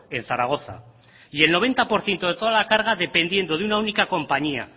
en zaragoza y el noventa por ciento de toda la carga dependiendo de una única compañía